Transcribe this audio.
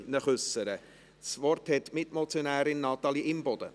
Das Wort hat die Mitmotionärin Natalie Imboden.